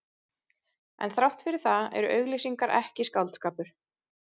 En þrátt fyrir það eru auglýsingar ekki skáldskapur.